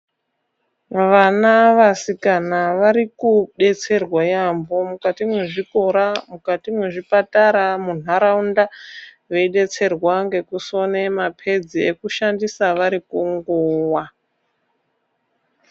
Vana vasikana vari kudetserwa yaampho mukati mwezvikora, mukati mwezvipatara, muntaraunda, veidetsererwa ngekusona maphedzi ekushandisa vari kunguwa.